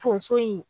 Tonso in